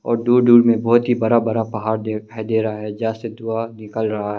और दूर दूर में बहुत ही बड़ा बड़ा पहाड़ दिखाई दे रहा है जैसे धुआं निकल रहा है।